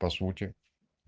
по сути